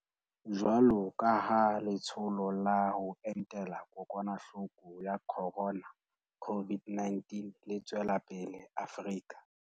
Jwalo ka ha Le tsholo la ho Entela Kokwanahloko ya Khorona, COVID-19, le tswela pele Afrika